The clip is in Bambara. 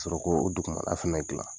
Sɔrɔ k'o o dugumala fɛnɛ dilan